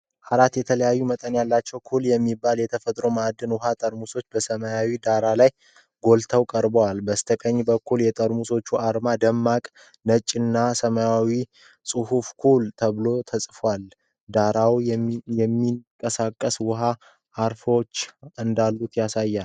አራት የተለያዩ መጠን ያላቸው ክፍል የሚባል የተፈጥሮ ማዕድን ውሃ ጠርሙሶች በሰማያዊ ዳራ ላይ ጎልተው ቀርበዋል። በስተቀኝ በኩል የጠርሙሶቹ አርማ በደማቅ ነጭና ሰማያዊ ጽሑፍ 'Kool' ተብሎ ተጽፏል፤ ዳራውም የሚንቀሳቀስ ውሃና አረፋዎች እንዳሉት ያሳያል።